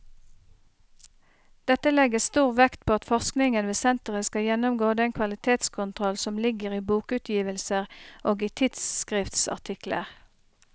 Dette legges stor vekt på at forskningen ved senteret skal gjennomgå den kvalitetskontroll som ligger i bokutgivelser og i tidsskriftsartikler.